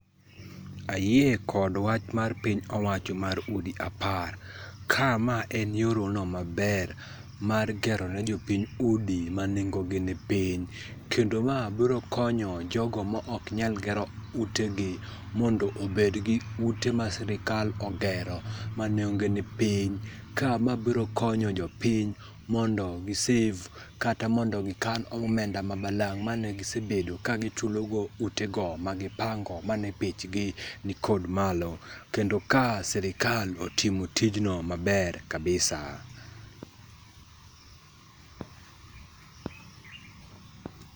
Ayie kod wach mar piny owacho mar udi apar. Ka ma en yor no maber mar gero ne jopiny udi manengogi ni piny. Kendo ma biro konyo jogo maok nyal gero utegi mondo obed gi ute ma sirkal ogero manengogi ni piny. Ka ma biro konyo jopiny mondo gi save kata mondo gikan omenda ma balang' mane gisebed kagichulogo utego magipango mane bechgi nikod malo, kendo ka sirkal otimo tijno maber kabisa.